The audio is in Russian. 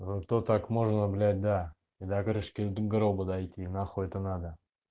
угу то так можно блять да и до крышка гроба дойти нахуй это надо